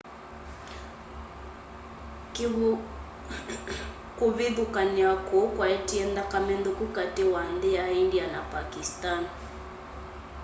kũvĩthũkanĩa kũũ kwaetie nthakame nthũku katĩ wa nthĩ ya ĩndĩa na pakisani